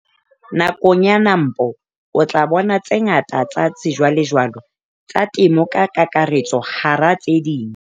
Nakong ya NAMPO o tla bona tse ngata tsa sejwalejwale tsa temo ka kakaretso hara tse ding.